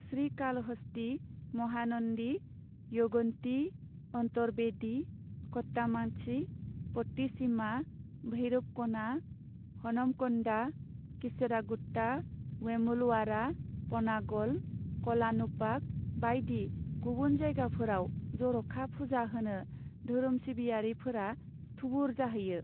श्रीकालहस्ती, महानन्दी, यगन्ती, अन्तरवेदी, कट्टामांची, पट्टिसीमा, भैरवक'ना, हनमक'न्डा, कीसरागुट्टा, वेमुलवाड़ा, पनागल, क'लानुपाक बायदि गुबुन जायगाफोराव जर'खा फुजा होनो धोरोम सिबियारिफोरा थुबुर जाहैयो।